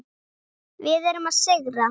Við erum að sigra.